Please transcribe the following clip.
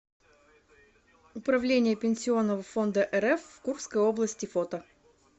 управление пенсионного фонда рф в курской области фото